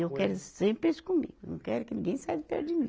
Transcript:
E eu quero sempre eles comigo, não quero que ninguém saia de perto de mim.